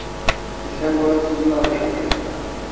Ketgan bo‘lasizlar o‘sha paytda.